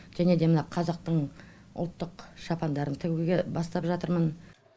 және де мына қазақтың ұлттық шапандарын тігуге бастап жатырмын